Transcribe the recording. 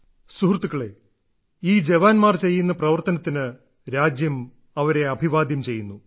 സുഹൃത്തുക്കളേ ഈ ജവാൻമാർ ചെയ്യുന്ന പ്രവർത്തനത്തിന് രാജ്യം അവരെ അഭിവാദ്യം ചെയ്യുന്നു